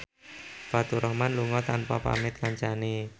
Faturrahman lunga tanpa pamit kancane